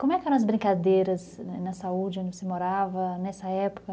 Como é que eram as brincadeiras na saúde onde você morava nessa época?